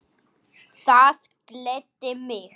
Það gladdi mig.